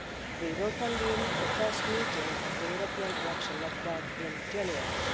We will convene the first meeting of the European election network in January.